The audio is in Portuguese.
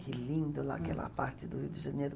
Que lindo lá, aquela parte do Rio de Janeiro.